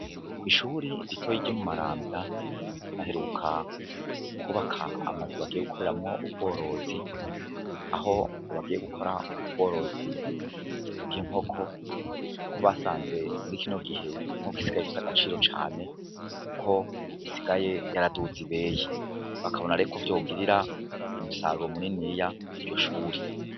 Kw'ishuri ritoyi ryo mu Maranvya baheruka kubaka amazu bagiye gukoreramwo ubworozi, aho ngo bagiye gukora ubworozi bw'inkoko, kuko basanze muri kino gihe inkoko isigaye ifise agaciro cane, kuko isigaye yaraduze ibeyi, bakabona rero ko vyogirira umusaruro munini iryo shuri.